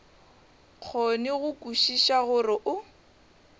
kgone go kwešiša gore o